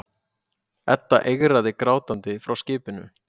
Edda eigraði grátandi frá skipinu.